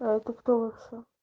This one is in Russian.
а это кто вообще